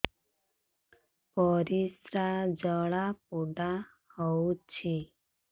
ପରିସ୍ରା ଜଳାପୋଡା ହଉଛି